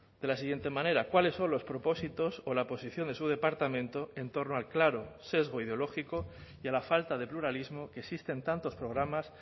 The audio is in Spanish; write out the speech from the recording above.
de la siguiente manera cuáles son los propósitos o la posición de su departamento en torno al claro sesgo ideológico y a la falta de pluralismo que existe en tantos programas